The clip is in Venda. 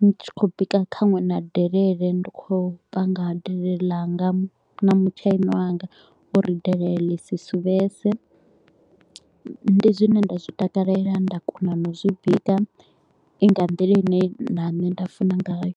ndi tshi kho u bika nkhaṅwe na delele. Ndi kho u panga delele ḽanga na mutshaini wanga uri delele ḽi si suvhese, ndi zwine nda zwi takalela nda kona na u zwi bika, i nga nḓila ine na nṋe nda funa ngayo.